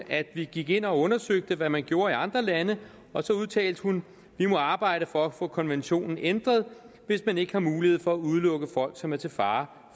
at vi gik ind og undersøgte hvad man gjorde i andre lande og så udtalte hun vi må arbejde for at få konventionen ændret hvis man ikke har mulighed for at udelukke folk som er til fare